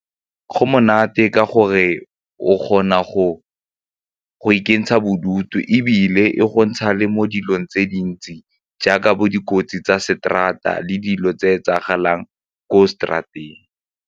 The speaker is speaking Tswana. Go monate ka gore o kgona go ikentsha bodutu ebile e go ntsha le mo dilong tse dintsi jaaka bo dikotsi tsa straat-a le dilo tse etsagalang ko straat-eng.